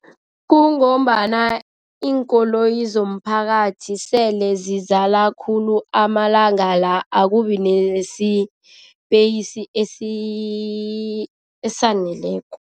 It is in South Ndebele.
Kungombana iinkoloyi zomphakathi sele zizala khulu amalanga la akubi nesipeyisi esaneleko.